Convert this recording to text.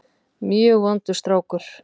Mjög vondur strákur.